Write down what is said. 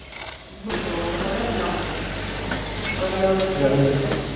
હમ ભણવું તો પડે એના મળે ભણ્યા વગર ક્યાં મેળ પડે